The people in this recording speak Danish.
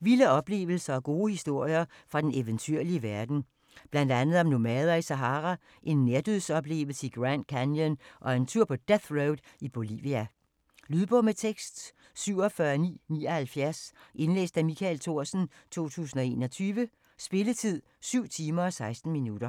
Vilde oplevelser og gode historier fra den eventyrlige verden. Bl.a. om nomader i Sahara, en nærdødsoplevelse i Grand Canyon og en tur på Death Road i Bolivia. Lydbog med tekst 47979 Indlæst af Michael Thorsen, 2021. Spilletid: 7 timer, 16 minutter.